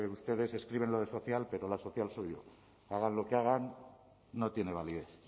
ustedes escriben lo de social pero la social soy yo hagan lo que hagan no tiene validez